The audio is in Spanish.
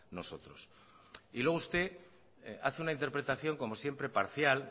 nosotros y luego usted hace una interpretación como siempre parcial